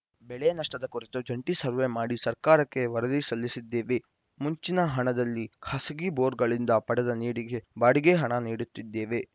ಬೆಳೆ ನಷ್ಟದ ಕುರಿತು ಜಂಟಿ ಸರ್ವೆ ಮಾಡಿ ಸರ್ಕಾರಕ್ಕೆ ವರದಿ ಸಲ್ಲಿಸಿದ್ದೇವೆ ಮುಂಚಿನ ಹಣದಲ್ಲಿ ಖಾಸಗಿ ಬೋರ್‌ಗಳಿಂದ ಪಡೆದ ನೀರಿಗೆ ಬಾಡಿಗೆ ಹಣ ನೀಡುತ್ತಿದ್ದೇವೆ